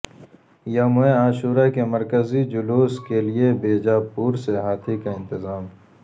یوم عاشورہ کے مرکزی جلوس کیلئے بیجاپور سے ہاتھی کا انتظام